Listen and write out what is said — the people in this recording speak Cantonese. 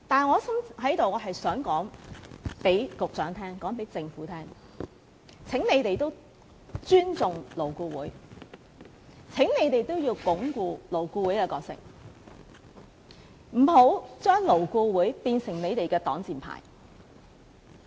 可是，我在此想告訴局長及政府，請你們也尊重勞顧會，請你們也要鞏固勞顧會的理念，不要將勞顧會變成你們的擋箭牌。